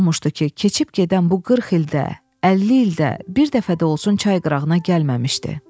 Necə olmuşdu ki, keçib gedən bu 40 ildə, 50 ildə bir dəfə də olsun çay qırağına gəlməmişdi?